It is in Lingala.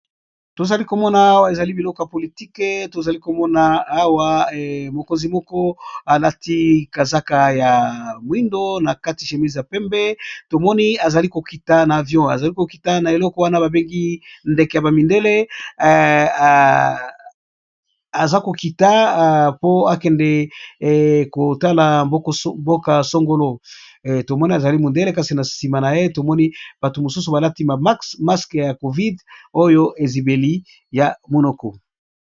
Tozali komona awa ezali biloko ya politike tozali komona awa mokonzi moko alati kazaka ya moindo na kati chémise ya pembe tomoni azali kokita na avion azali kokita na eleko wana babengi ndeke ya bamindele aza kokita po akende kotala mboka-songolo tomoni azali mindele kasi na nsima na ye tomoni bato mosusu balati maxmaske ya covide oyo ezibeli ya monoko.